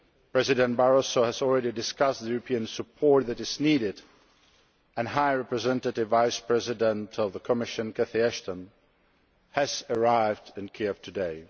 President Barroso has already discussed the European support that is needed and High Representative Vice President of the Commission, Cathy Ashton, has arrived in Kiev today.